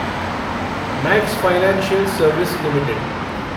max Financial Service limited